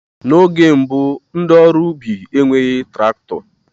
N'oge mbụ ndị ọrụ ubi enweghị traktọ